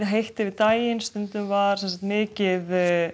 heitt yfir daginn stundum var mikið